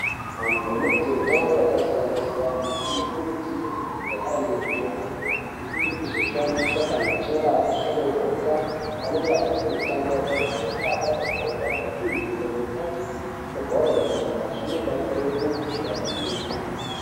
Antu anoite mitambo yakasiyana siyanaanokurudzirwe kunge aine mitombo yekuzoshandisa kana achinge ashodogoka, paanenge achiite mitambo yakaita sekukhaba mabhora ,kutuhwina kutambe mabhora enyara. Zvinobatsire kuti abatsirike.